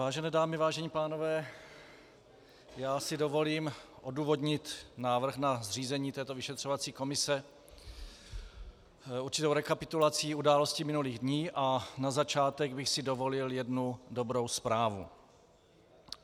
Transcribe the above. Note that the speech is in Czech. Vážené dámy, vážení pánové, já si dovolím odůvodnit návrh na zřízení této vyšetřovací komise určitou rekapitulací událostí minulých dní a na začátek bych si dovolil jednu dobrou zprávu.